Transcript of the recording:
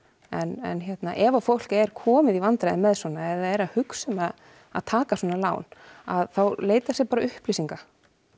en ef fólk er komið í vandræði með svona eða er að hugsa um að taka svona lán að leita sér þá upplýsinga